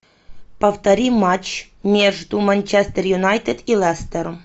повтори матч между манчестер юнайтед и лестером